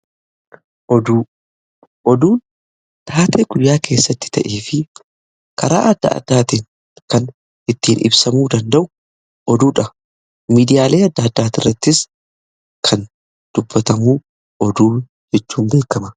Oduu; Oduu taatee guyyaa keessatti ta'ee fi karaa adda addaatiin kan ittiin ibsamuu danda'u oduudha. Miidiyaalee adda addaa irrattis kan dubbatamu oduu jechuun beekama.